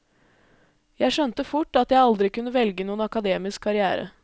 Jeg skjønte fort at jeg aldri kunne velge noen akademisk karrière.